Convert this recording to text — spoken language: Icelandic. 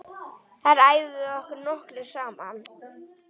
Þar æfum við nokkrir saman.